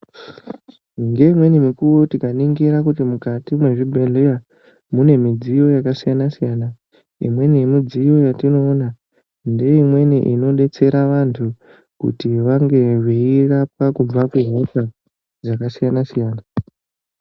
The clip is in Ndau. Ndeimweni mukuwo tikaningira kuti mukati mezvibhedhlera mune midziyo yakasiyana siyana imweni yemudziyo yatinoona ndeimweni inodetsera vantu kuti vange veirapwa kubva kuhosha dzakasiyana-siyana.